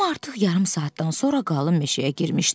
Tom artıq yarım saatdan sonra qalın meşəyə girmişdi.